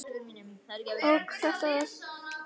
Og í þetta sinn var þetta örugglega íkveikja.